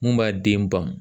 Mun b'a den ban